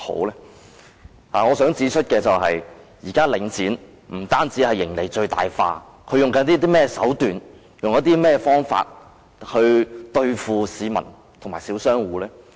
然而，我想指出，現時領展不僅將盈利最大化，他們採取甚麼手段和方法對付市民和小商戶呢？